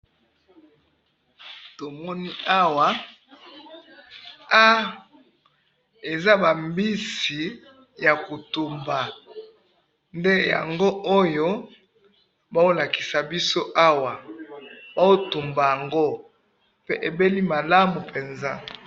tomoni awa ha eza ba mbisi ya kotumba nde yangoyo bazolakisa biso awa bazo tumba yango pe ebeli malamu penza